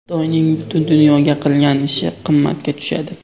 Xitoyning butun dunyoga qilgan ishi qimmatga tushadi.